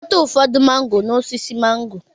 Chịkọta ụfọdụ mángò n'osisi mángò